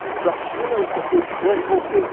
Quer dizer, da China eu só fui ao Tibete e voltei.